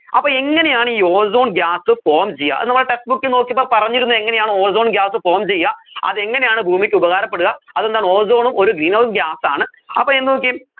അപ്പോ എങ്ങനെയാണ് ഈ ozone gas form ചെയ്യാ അത് നമ്മൾ textbook ൽ നോക്കിയപ്പോ പറഞ്ഞിരുന്നു എങ്ങനെയാണു ozone gas form ചെയ്യാ അതെങ്ങനെയാണ് ഭൂമിക്ക് ഉപകാരപ്പെടുക അതെന്താണ് ozone ഉം ഒരു greenhouse gas ആണ്